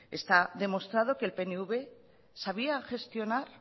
está demostrado que el pnv sabía gestionar